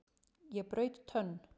Ég braut tönn!